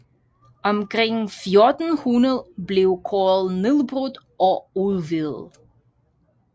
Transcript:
Omkring 1400 blev koret nedbrudt og udvidet